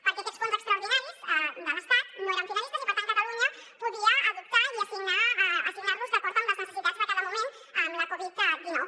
perquè aquests fons extraordinaris de l’estat no eren finalistes i per tant cata·lunya podia adoptar i assignar·los d’acord amb les necessitats de cada moment amb la covid·dinou